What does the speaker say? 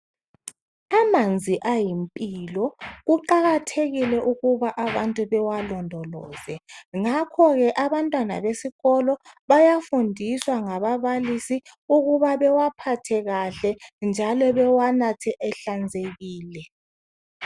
Amanzi ayimpilo kuqakathekile ukuba abantu bewalondoloze ngakho ke abantwana besikolo bayafundiswa ngababalisa ukuba bewaphathe kahle njalo bewanathe ehlanzekile.